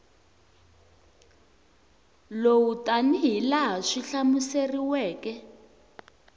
lowu tanihi laha swi hlamuseriweke